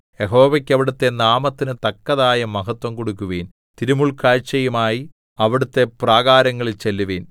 യഹോവയ്ക്ക് അവിടുത്തെ നാമത്തിന് തക്കതായ മഹത്വം കൊടുക്കുവിൻ തിരുമുൽകാഴ്ചയുമായി അവിടുത്തെ പ്രാകാരങ്ങളിൽ ചെല്ലുവിൻ